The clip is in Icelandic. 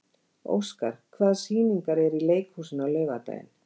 Óskar, hvaða sýningar eru í leikhúsinu á laugardaginn?